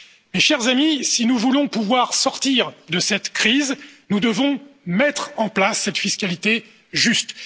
Mes chers amis, si nous voulons pouvoir sortir de cette crise, nous devons mettre en place cette fiscalité juste.